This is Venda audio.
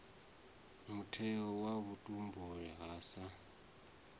mutheo wa vhutumbuli ha sa